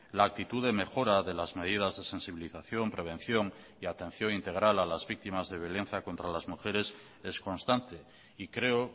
la actitud de mejora de las medidas de sensibilización prevención y atención integral a las víctimas de violencia contra las mujeres es constante y creo